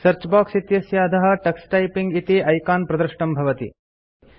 search box इत्यस्य अधः Tux typing इति आइकन प्रदृष्टं भवति